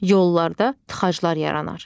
Yollarda tıxaclar yaranar.